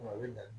A bɛ dan